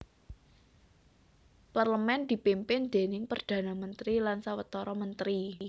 Parlemen dipimpin déning Perdana Mentri lan sawetara mentri